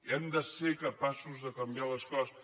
hem de ser capaços de canviar les coses